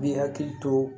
Bi hakili to